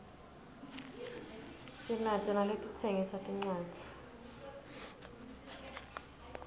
sinato naletitsengisa tincwadzi